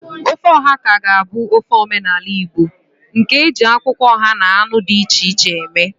Ofe oha ka ga-abụ ofe omenala Igbo nke e ji akwụkwọ oha na anụ dị iche iche eme.